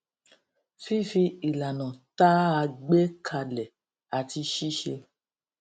fífi ìlànà tá a gbé kalẹ àti ṣíṣe